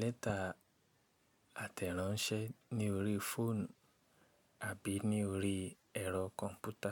lẹ́tà àtẹ̀ráńṣẹ́ ní orí fóònù àbí ní orí ẹ̀rọ kọ̀ǹpútà.